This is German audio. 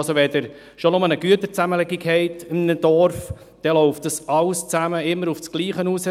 Schon nur, wenn Sie in einem Dorf eine Güterzusammenlegung haben, läuft dies alles immer aufs Gleiche hinaus.